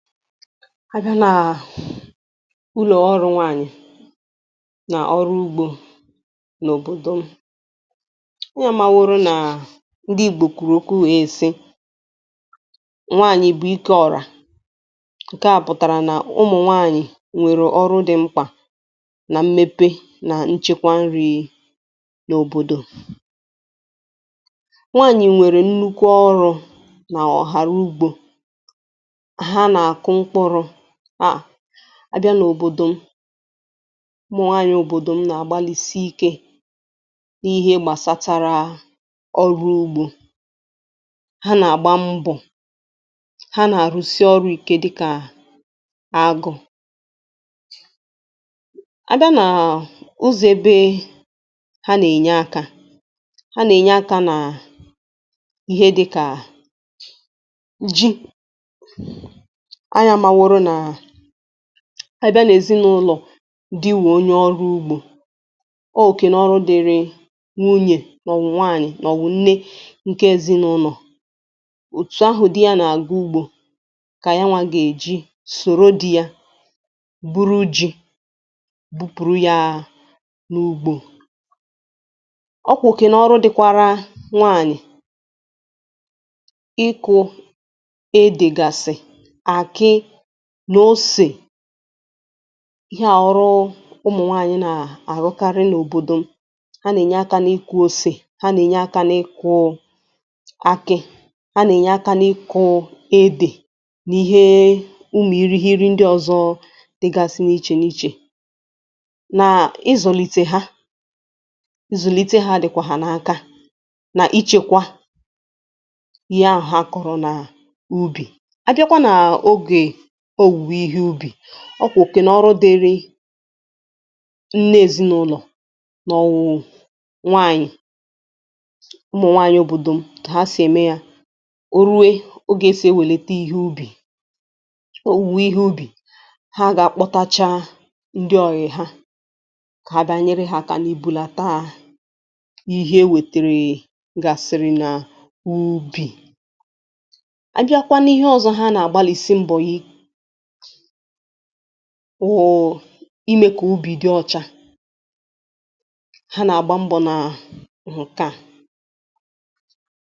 A bịa naà ụlọ̀ ọrụ nwaànyị̀ nọ̀rụ ugbȯ n’òbòdò m. Ụnụ amaworó naa ndị Igbo kwuru ọkwu wèe sị nwaànyị̀ bụ̀ ike ọ̀rà Nkè a pụ̀tàrà nà ụmụ̀ nwaànyị̀ nwèrè ọrụ dị̇ mkpà, na mmepe nà nchekwa nri nòbòdò. Nwaànyị̀ nwèrè nnukwu ọrụ̇nà ọ̀hàrà ugbo ha na-akụ mkpụrụ ma á bịa n’òbòdò m. Ụmụ nwaanyị obodo m na-agbalisiike n’ihe gbastaraa ọrụ ugbo. Ha na-àgbá mbọ̀. ha nà-àrụsị oru ikė dịkà agụ. A bịa naa ụzọ̀ ebe ha nà-ènye aka, Ha nà-ènye akȧ naà ihe dịkà a ji, ányị amaworó naa, a bịa n’èzinụlọ̀, di wụ onye ọrụ ugbo, ọọ okè nà ọrụ dịịrị nwunye màọwụ̀ nwáànyị̀ màọwụ̀ nne nke ezinulọ. Òtù ahụ dị ya na-àgá ugbo kà nyanwȧ gà-èji soro dị ya buru ji, bupùrù ya n’ugbȯ. Ọọ kwa oke nà ọrụ dịkwara nwaànyị̀ dịgasị àkị́, osè. Ihe à wụ ọrụ ụmụ̀ nwaànyị na-àrụkarị n'òbòdò m. Ha nà-ènyé aka n'ịkụ ose, ha nà-ènyé aka n'ịkụ akị, ha nà-ènyé aka n'ịkụ ede. N'ihee ụmụ irighiri ndị ọzọ dịgasị n'iche n'iche. Naa ịzụlite ha, nzulite ha dịkwa ha n'aka na ichekwa Ihe ahụ ha kụrụ naa ubi. Ọọ kwà òke nà ọrụ dịrị nne èzinụlọ̀ maọwụ̇ nwaànyị̀. Ụmụ̀ nwaànyị̀ òbòdò m, ka ha sì ème yȧ, o rue oge esị̀ ewèlete ihe ubì, owuwe ihe ubì, ha gà-àkpọtacha ndị ọyì ha kà ha bịa nyere ha aka n'ibulataa ihe e wètèrè gasịrị na n’ubì. A bịakwa n’ihe ọzọ ha nà-àgbalìsi mbọ wụ̀ụ̀ imė kà úbì dị ọcha. Ha nà-àgbá mbọ naa nke a.